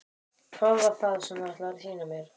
Hvað var það sem þú ætlaðir að sýna mér?